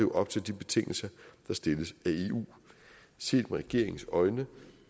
op til de betingelser der stilles af eu set regeringens øjne